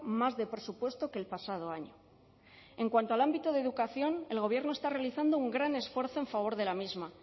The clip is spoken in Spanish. más de presupuesto que el pasado año en cuanto al ámbito de educación el gobierno está realizando un gran esfuerzo en favor de la misma